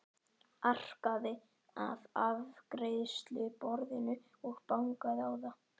Arkaði að afgreiðsluborðinu og bankaði á það.